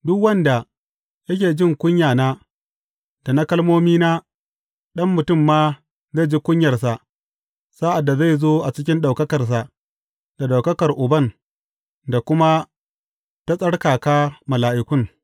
Duk wanda yake jin kunyana da na kalmomina, Ɗan Mutum ma zai ji kunyarsa sa’ad da zai zo a cikin ɗaukakarsa, da ɗaukakar Uban, da kuma ta tsarkaka mala’ikun.